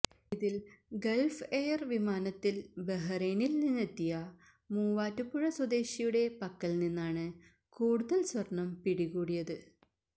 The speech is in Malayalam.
ഇതില് ഗള്ഫ് എയര് വിമാനത്തില് ബഹ്റൈനില് നിന്നെത്തിയ മൂവാറ്റുപുഴ സ്വദേശിയുടെ പക്കല് നിന്നാണ് കൂടുതല് സ്വര്ണം പിടികൂടിയത്